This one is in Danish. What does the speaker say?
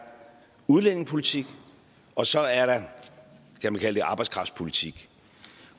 udlændingepolitik og så er der kan man kalde det arbejdskraftpolitik